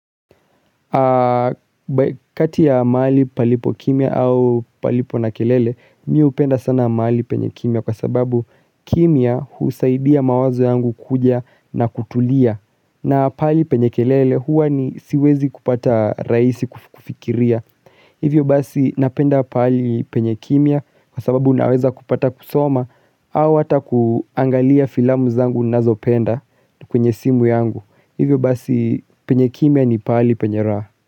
Kati ya maali palipo kimya au palipo na kelele Mi upenda sana maali penye kimya kwa sababu kimya husaidia mawazo yangu kuja na kutulia na paali penye kelele huwa ni siwezi kupata raisi kufikiria. Hivyo basi napenda paali penye kimya kwa sababu unaweza kupata kusoma. Au hata kuangalia filamu zangu nazo penda kwenye simu yangu. Hivyo basi penye kimya ni paali penya raha.